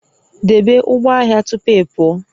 Debe ụgbọ ahịa tupu ị pụọ